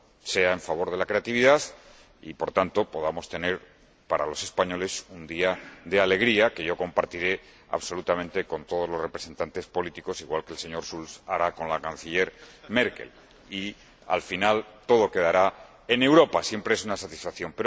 sea en favor de la creatividad y, por tanto, podamos tener para los españoles un día de alegría que compartiré absolutamente con todos los representantes políticos, igual que el señor Schulz hará con la Canciller Merkel llegado el caso —y al final, todo quedará en Europa, lo que siempre es una satisfacción—